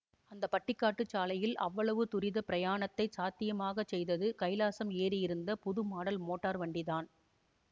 அந்த பட்டிக்காட்டுச் சாலையில் அவ்வளவு துரிதப் பிரயாணத்தைச் சாத்தியமாகச் செய்தது கைலாஸம் ஏறியிருந்த புதுமாடல் மோட்டார் வண்டிதான்